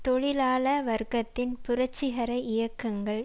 தொழிலாள வர்க்கத்தின் புரட்சிகர இயக்கங்கள்